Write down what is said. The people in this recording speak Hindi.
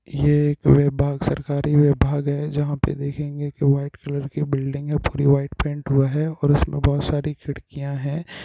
ये एक सरकारी विभाग है जहां पे देखेंगे की व्हाइट कलर की ब्लीडिंग है पूरी व्हाइट पेंट हुआ है और उसमें बहोत सारी खिड़कियां हैं।